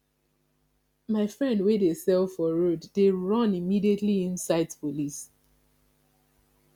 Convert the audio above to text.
my friend wey dey sell for road dey run immediately im sight police